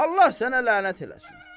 Allah sənə lənət eləsin.